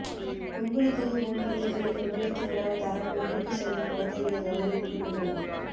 புங்குடுதீவு முன்பள்ளிகளின் ஒன்றியத்தினரால் தரம் ஒன்றுக்கு செல்லும் குழந்தைகளை கௌரவிக்கும் நிகழ்வு